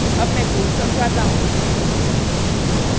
अब मैं code समझाता हूँ